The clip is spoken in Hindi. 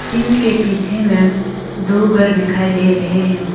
झील के पीछे में दो घर दिखाई दे रहे हैं।